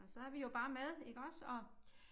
Og så vi jo bare med iggås og